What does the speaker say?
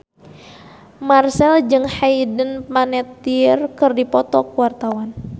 Marchell jeung Hayden Panettiere keur dipoto ku wartawan